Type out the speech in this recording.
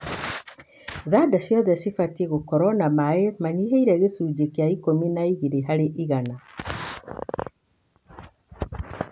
Thanda ciothe cibatie gũkorwo na maĩ manyihĩire gĩcunji kĩa ikũmi na igĩrĩ harĩ igana.